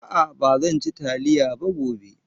A'a ba zan ci taliya ba gobe.